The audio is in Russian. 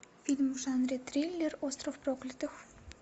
фильм в жанре триллер остров проклятых